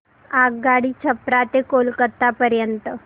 आगगाडी छपरा ते कोलकता पर्यंत